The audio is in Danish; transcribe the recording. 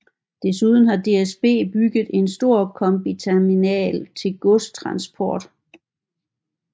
Desuden har DSB bygget en stor kombiterminal til godstransport